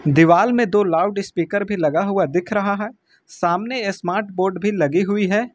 दीवाल में दो लाउडस्पीकर भी लगा हुआ दिख रहा है सामने स्मार्ट बोर्ड भी लगी हुई है।